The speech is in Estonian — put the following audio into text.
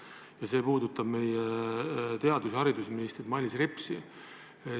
Ja see puudutab meie haridus- ja teadusministrit Mailis Repsi.